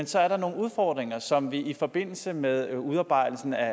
så er nogle udfordringer som vi i forbindelse med udarbejdelsen af